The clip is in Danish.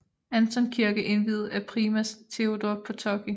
Anton kirke indviet af primas Teodor Potocki